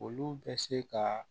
Olu bɛ se ka